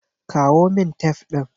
Kawo min tef ɗin.